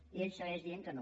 i ell segueix dient que no